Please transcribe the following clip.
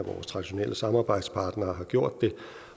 traditionelle samarbejdspartnere har gjort det